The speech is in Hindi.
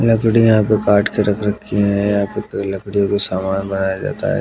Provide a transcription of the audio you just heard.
लकड़ी यहां पे काट कर रख रखी है यहां पे लकड़ियों के सामान बनाया जाता है।